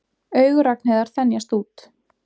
Augu Ragnheiðar þenjast út.